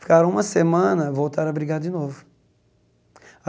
Ficaram uma semana, voltaram a brigar de novo.